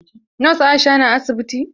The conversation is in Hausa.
Nos Aisha na asibiti?